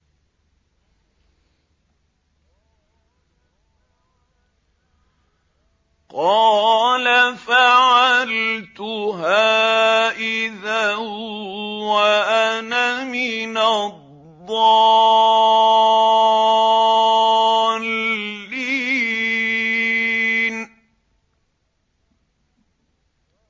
قَالَ فَعَلْتُهَا إِذًا وَأَنَا مِنَ الضَّالِّينَ